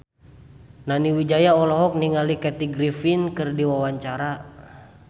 Nani Wijaya olohok ningali Kathy Griffin keur diwawancara